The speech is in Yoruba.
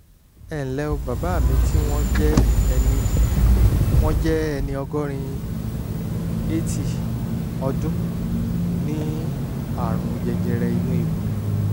ẹ ǹlẹ́ o bàbá mi tí wọ́n jẹ́ ẹni wọ́n jẹ́ ẹni ọgọ́rin [80] ọdún ní àrùn jẹjẹrẹ inú ikùn